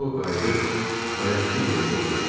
O qayıdıb bayaqkı yerində oturdu.